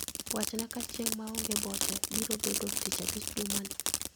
Wachna ka chieng' maonge boche biro bedo tich abich jumani